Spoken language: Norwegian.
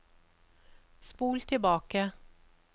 spol tilbake